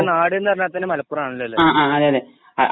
നാടിൻെറ നാട്‌ന്നു പറഞ്ഞാതന്നെ മലപ്പുറം ആണല്ലോ അല്ലെ?